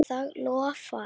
Það loforð halt.